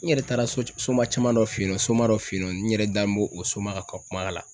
N yɛrɛ taara so soma cɛman dɔ fe yen nɔ soma dɔ fe yen nɔ n yɛrɛ dabɔ o soma ka kuma la